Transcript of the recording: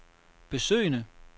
besøgende